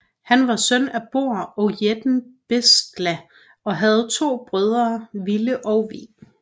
Han var søn af Borr og jætten Bestla og havde to brødre Vile og Ve